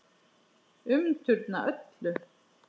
Umturna öllu.